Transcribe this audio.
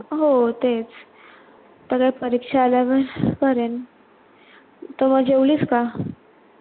हो तेच, आता काय परीक्षा आल्यावर करेन तर मग जेवलीस का?